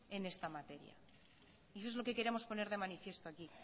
en esta materia eso es lo que queremos poner de manifiesto aquí